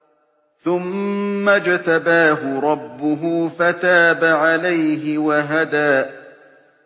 ثُمَّ اجْتَبَاهُ رَبُّهُ فَتَابَ عَلَيْهِ وَهَدَىٰ